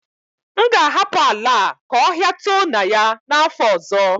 M ga-ahapụ ala a ka ọhia too na ya n'afọ ọzọ